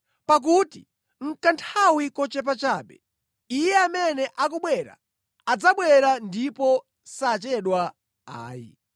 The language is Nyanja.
Pakuti nʼkanthawi kochepa chabe, Iye amene akubwera adzabwera ndipo sadzachedwa ayi.